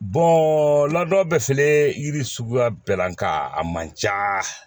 laadaw bɛ filɛ yiri suguya bɛɛ la nka a man ca